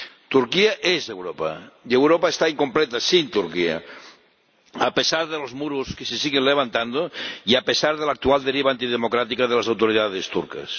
Turquía es Europa y Europa está incompleta sin Turquía, a pesar de los muros que se siguen levantando y a pesar de la actual deriva antidemocrática de las autoridades turcas.